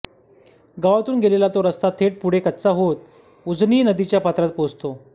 गावातून गेलेला तो रस्ता थेट पुढे कच्चा होत थेट उजनी नदीच्या पात्रात पोहोचतो